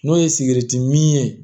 N'o ye sigɛriti min ye